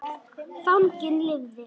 Fanginn lifði.